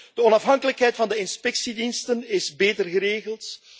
De onafhankelijkheid van de inspectiediensten is beter geregeld.